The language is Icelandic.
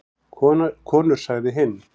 Konur sagði hinn.